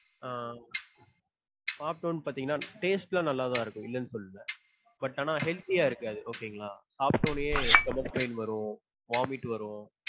ஆஹ் சாப்பிட்டோனு பாத்தீங்களா taste லாம் நல்லாதா இருக்கும் இல்லன்னு சொல்லல. but ஆனா healthy யா இருக்காது okay ங்களா? சாப்ட உடனே stomach pain வரும் vomit வரும்.